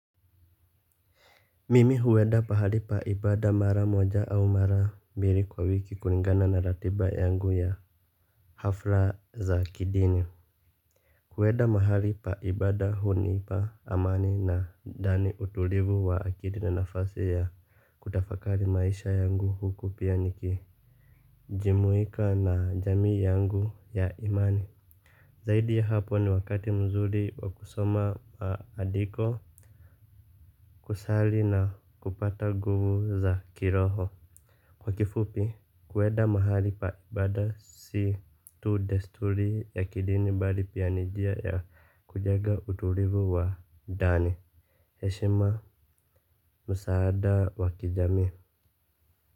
Mimi huenda pahali pa ibada mara moja au mara mbili kwa wiki kulingana na ratiba yangu ya hafla za kidini. Kuwenda mahali pa ibada hunipa amani na ndani utulivu wa kidini nafasi ya kutafakali maisha yangu huku pia niki jimuika na jamii yangu ya imani. Zaidi ya hapo ni wakati mzuri wa kusoma andiko kusali na kupata guvu za kiroho. Kwa kifupi, kueda mahali pa ibada si tu desturi ya kidini bali pia ni jia ya kujega utulivu wa ndani. Eshima, msaada wakijamii.